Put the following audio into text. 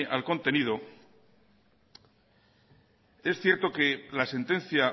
al contenido es cierto que la sentencia